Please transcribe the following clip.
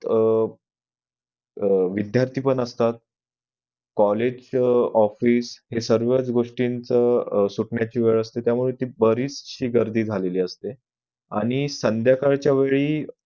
अह विध्यार्थी पण असतात college office हे सर्व गोष्टींचं सुटण्याची वेळ असती त्यामुळे बरीच गर्दी झालेली असते आणि संध्याकाळी च्या वेळी